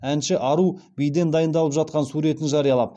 әнші ару биден дайындалып жатқан суретін жариялап